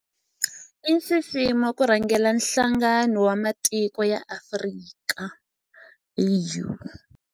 I nxiximo ku rhangela Nhlangano wa Matiko ya Afrika, AU.